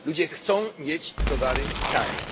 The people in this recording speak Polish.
Ludzie chcą mieć towary tanie.